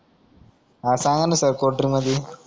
हा सांगना sir cold drink मधी